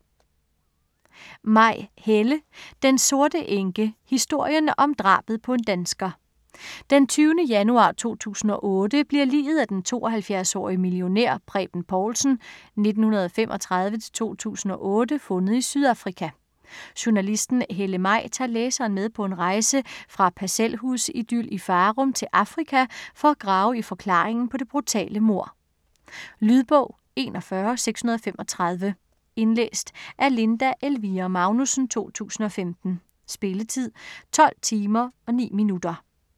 Maj, Helle: Den sorte enke: historien om drabet på en dansker Den 20. januar 2008 bliver liget af den 72-årige millionær Preben Povlsen (1935-2008) fundet i Sydafrika. Journalisten Helle Maj tager læseren med på en rejse fra parcelhusidyl i Farum til Afrika for at grave i forklaringen på det brutale mord. Lydbog 41635 Indlæst af Linda Elvira Magnussen, 2015. Spilletid: 12 timer, 9 minutter.